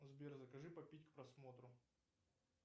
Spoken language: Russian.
сбер закажи попить к просмотру